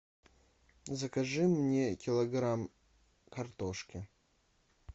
закажи мне килограмм картошки